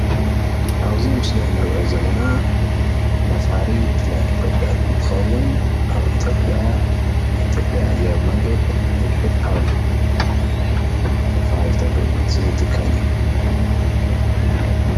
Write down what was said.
እዚ ምስሊ ካብቶም መሰረት ልምዓት ሓደ ኮይኑ ናይ ኢትዮጵያ ናይ ኣየር መጓዓዝያ እዩ።